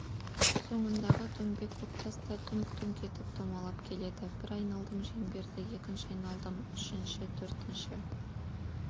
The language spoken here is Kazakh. соңындағы дөңбек көктас да дүңк-дүңк етіп домалап келеді бір айналдым шеңберді екінші айналдым үшінші төртінші